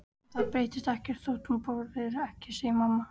En það breytist ekkert þótt þú borðir ekki, segir mamma.